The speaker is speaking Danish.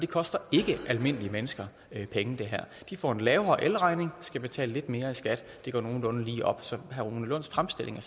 koster ikke almindelige mennesker penge de får en lavere elregning og skal betale lidt mere i skat det går nogenlunde lige op så herre rune lunds fremstilling